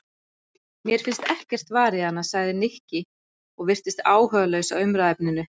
Mér finnst ekkert varið í hana sagði Nikki og virtist áhugalaus á umræðuefninu.